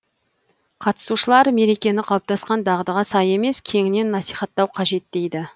қатысушылар мерекені қалыптасқан дағдыға сай емес кеңінен насихаттау қажет дейді